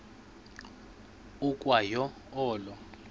ukwa yo olo